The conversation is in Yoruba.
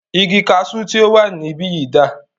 Igi kaṣu tí o wà níbìyí dà?